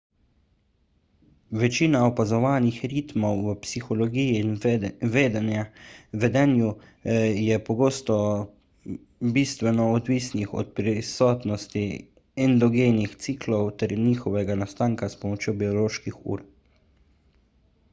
večina opazovanih ritmov v psihologiji in vedenju je pogosto bistveno odvisnih od prisotnosti endogenih ciklov ter njihovega nastanka s pomočjo bioloških ur